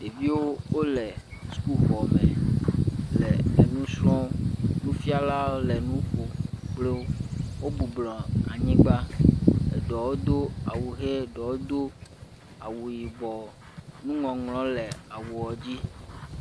Ɖeviwo wo le suku xɔ me, le e nu srɔ, nufiala le e nu ƒom kpli wo wo bɔbɔ nɔ anyi eɖewo ɖewo do awu ɣi ɖewo do awu yibɔ, nu ŋɔŋlɔ le awu dzi.